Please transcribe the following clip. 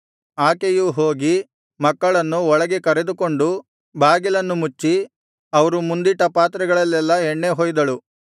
ಆಕೆಯು ಹೋಗಿ ಮಕ್ಕಳನ್ನು ಒಳಗೆ ಕರೆದುಕೊಂಡು ಬಾಗಿಲನ್ನು ಮುಚ್ಚಿ ಅವರು ಮುಂದಿಟ್ಟ ಪಾತ್ರೆಗಳಲ್ಲೆಲ್ಲಾ ಎಣ್ಣೆ ಹೊಯ್ದಳು